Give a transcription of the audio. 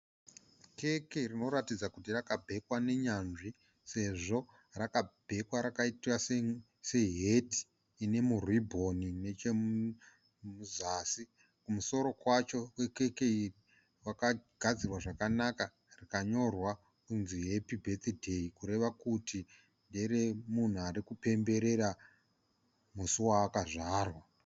keke rinoratidza kuti rakabhekwa nenyanzvi sezvo rakabhekwa rakaitwa seheti nemuribhoni kuzasi kwakagadzirwa zvakanaka rikanyora kuti 'happy birthday' zvichireva kuti ndere munhu ari kupemberera musi waakazvarwa.